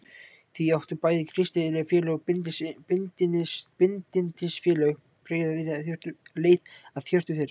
Því áttu bæði kristileg félög og bindindisfélög greiða leið að hjörtum þeirra.